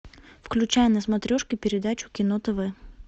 включай на смотрешке передачу кино тв